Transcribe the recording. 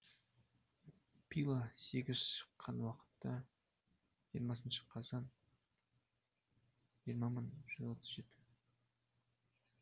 пила сегіз шыққан уақыты жиырмасыншы қазан жиырма мың жүз жетпіс үш